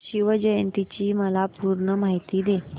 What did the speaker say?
शिवजयंती ची मला पूर्ण माहिती दे